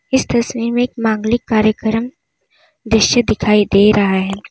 इस तस्वीर में एक मांगलिक कार्यक्रम दृश्य दिखाई दे रहा है।